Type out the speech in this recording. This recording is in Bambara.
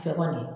Fɛ kɔni